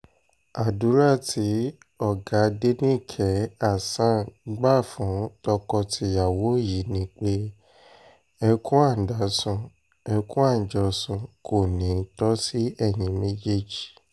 àdúrà tí lọ́gàdénikehàsán gbà fún tọkọ-tìyàwó yìí ni pé ẹkùn adásun ẹkùn àjọsùn kò ní í tó sí ẹ̀yin méjèèjì